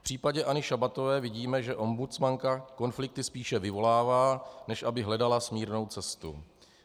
V případě Anny Šabatové vidíme, že ombudsmanka konflikty spíše vyvolává, než aby hledala smírnou cestu.